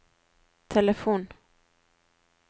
telefon